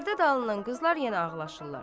Pərdə dalından qızlar yenə ağlaşırlar.